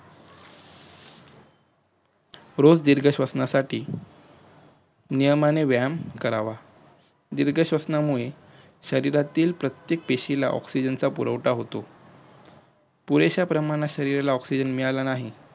रोज दीर्घ श्वसनासाठी नियमाने वायम करावा दीर्घ श्वसनामुळे शरिरातील प्रत्येक पेशीला ऑक्सीजचा पुरवठा होतो पुरेश्या प्रमाणाला ऑक्सीजन मिळाला नाही